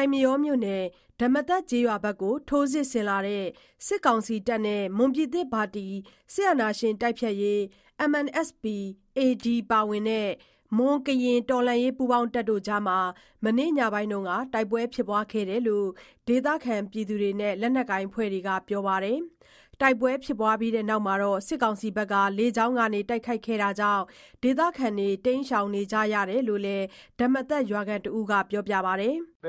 ိုက်မရောမြို့နယ် ဓမ္မသကျေးရွာဘက်ကို ထိုးစစ်ဆင်လာတဲ့ စစ်ကောင်စီတပ်နဲ့ မွန်ပြည်သစ်ပါတီ NMSP-AD ပါဝင်တဲ့ မွန်ကရင်တော်လှန်ရေး ပူးပေါင်းတပ်တို့အကြား မနေ့ညပိုင်းမှာ တိုက်ပွဲဖြစ်ပွားခဲ့တယ်လို့ ဒေသခံတွေနဲ့ လက်နက်ကိုင် အဖွဲ့တွေက ပြောပါတယ်။ တိုက်ပွဲဖြစ်ပြီးနောက် စစ်ကောင်စီက လေကြောင်းကနေ တိုက်ခိုက်ခဲ့တာကြောင့် ဒေသခံတွေ တိမ်းရှောင်နေကြရတယ်လို့လည်း ဓမ္မသ ရွာသား တယောက်က ပြောပါတယ်။ “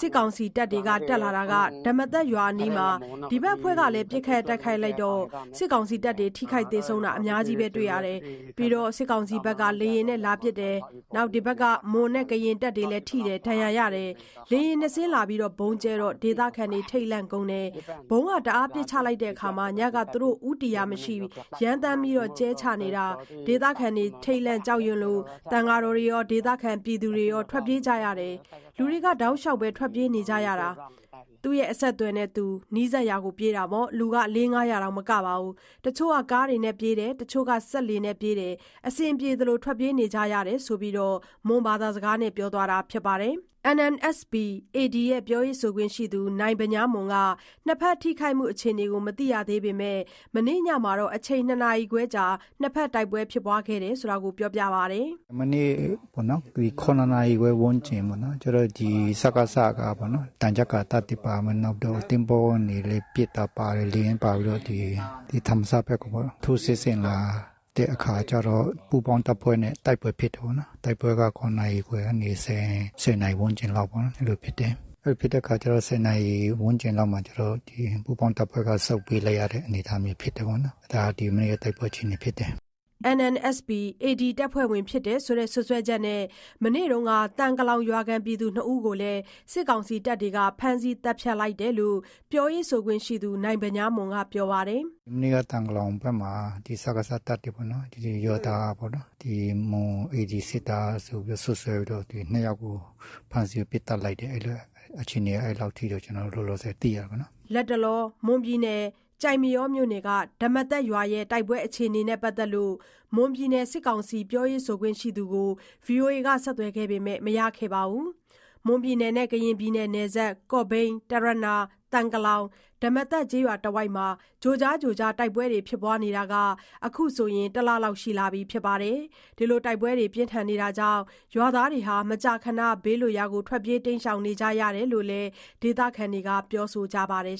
စစ်ကောင်စီတပ်တွေက တက်လာတာ ဓမ္မသရွာအနီးမှာ ဒီဘက်အဖွဲ့ကလည်း ပစ်ခတ်တိုက်ခိုက်လိုက်တော့ စစ်ကောင်စီတပ်တွေ ထိခိုက်သေဆုံးတာအများကြီးပဲ၊ ပြီးတော့ စစ်ကောင်စီဘက်က လေယာဉ်နဲ့ လာပစ်တာ ဒီဘက်က မွန်နဲ့ကရင်တပ်တွေလည်း ထိတယ်၊ ဒဏ်ရာရတယ်။ လေယာဉ် ၂စင်း လာတာ ဗုံးကြဲချတော့ ဒေသခံတွေ ထိတ်လန့်ကုန်တယ်။ ဗုံးတအားပစ်ချတာ၊ ညက သူတို့ ဦးတည်ရာမရှိဘူး ရမ်းသမ်း ကြဲချနေတာ ဒေသခံတွေ ထိတ်လန့်ကြောက်ရွံလို့ သံဃာတော်တွေရော ဒေသခံတွေရော ထွက်ပြေးကြတယ်။၊ လူတွေ တောက်လျှောက်ထွက်ပြေးကြတာ။ သူ့အဆက်အသွယ်နဲ့သူ နီးစပ်ရာကို ပြေးတာပေါ့။ လူ လေး၊ ငါးရာ မက ဘူး။ တချို့က ကားနဲ့ ပြေးကြတယ်၊ တချို့က စက်လှေနဲ့ ပြေးကြတယ်။ အဆင်ပြေသလို ထွက်ပြေးနေကြတယ်။” ဆိုပြီး မွန်ဘာသာနဲ့ ပြောဆိုသွားပါတယ်။ NMSP-AD ပြောရေးဆိုခွင့်ရှိသူ နိုင်ဗညားမွန်က နှစ်ဖက်ထိခိုက်မှု အခြေအနေကို မသိရေသေးပေမဲ့ မနေ့ညမှာတော့ အချိန် ၂ နာရီခွဲကြား နှစ်ဖက်တိုက်ပွဲဖြစ်ပွားခဲ့ကြောင်း ပြောပါတယ်။ “မနေ့ကပေါ့နော် ၇နာရီခွဲ ဝန်းကျင်ပေါ့နော်၊ စကစကပေါ့နော် သံချပ်ကာတပ်တွေပါမယ် နောက်ပြီးတော့ သင်္ဘောကနေ ပစ်တာပါတယ်။ လေယာဉ်လည်း ပါပြီးတော့ ဒီဓမ္မသဘက်ကိုပေါ့နော်၊ ထိုးစစ်ဆင်လာတဲ့အခါကျတော့ ပူးပေါင်းတပ်ဖွဲ့နဲ့ တိုက်ပွဲဖြစ်တယ်ပေါ့နော်။ တိုက်ပွဲက ၇ နာရီခွဲကနေ ၁၀ နာရီဝန်းကျင်လောက်ပေါ့နော်၊ အဲ့လိုဖြစ်တယ်။ အဲ့လိုဖြစ်တဲ့အခါကျတော့ ၁၀ နာရီဝန်းကျင်လောက်မှာ ကျနော်တို့ ပူးပေါင်းတပ်ဖွဲ့က ဆုတ်ပေးလိုက်ရတဲ့ အနေအထားမျိုးဖြစ်တယ်ပေါ့နော်။ ဒါက မနေ့က တိုက်ပွဲအခြေအနေဖြစ်တယ်။” NMSP-AD တပ်ဖွဲ့ဝင်ဖြစ်တယ်ဆိုတဲ့ စွပ်စွဲချက်နဲ့ မနေ့က သံကလောင်ရွာခံ ၂ဦးကို စစ်ကောင်စီတပ်တွေ ဖမ်းဆီး သတ်ဖြတ်လိုက်တယ်လို့လည်း ပြောရေးဆိုခွင့်ရှိသူ နိုင်ဗညားမွန် က ပြောပါတယ်။ “မနေ့က သံကလောင်ဘက်က စကစတပ်တွေပေါ့နော် ဒီရွာသားပေါ့နော် ၊ မွန် AD စစ်သားဆိုပြီး စွပ်စွဲပြီးတော့ ၂ ယောက်ကို ဖမ်းဆီးပစ်သတ်လိုက်တယ် အခြေအနေက အဲ့ဒီလောက်ထိ ကျနော်တို့ လောလောဆယ်သိရတယ်ပေါ့နော်။” လတ်တလော ဓမ္မသရွာ တိုက်ပွဲအခြေအနေနဲ့ ပတ်သက်လို့ မွန်ပြည်နယ် စစ်ကောင်စီပြောရေးဆိုခွင့်ရှိသူကို ဆက်သွယ်ခဲ့ပေမဲ့ မရခဲ့ပါဘူး။ မွန်-ကရင်နယ်စပ် ကော့ဘိန်း၊ တရနာ၊ သံကလောင်၊ ဓမ္မသကျေးရွာတဝိုက်မှာ ကြိုကြားကြိုကြား တိုက်ပွဲဖြစ်နေတာ အခုဆို တစ်လလောက်ရှိလာပါပြီ။ တိုက်ပွဲတွေကြောင့် ရွာသားတွေ မကြာခဏ ဘေးလွတ်ရာ တိမ်းရှောင်နေကြရတယ်လို့လည်း ဒေသခံတွေက ပြောဆိုကြပါတယ်